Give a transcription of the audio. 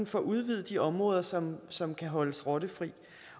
får udvidet de områder som som kan holdes rottefri